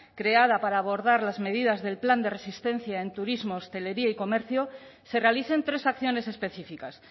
creada para abordar las medidas del plan de resistencia en turismo hostelería y comercio se realicen tres acciones específicas